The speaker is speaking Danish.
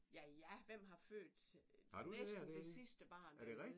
Ja ja! Hvem har født næsten det sidste barn dernede?